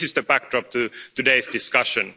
This is the backdrop to today's discussion.